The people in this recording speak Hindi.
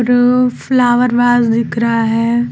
हम फ्लावर वाल्वर दिख रहा है।